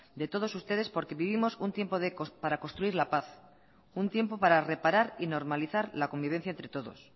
de todos ustedes porque vivimos un tiempo para construir la paz un tiempo para reparar y normalizar la convivencia entre todos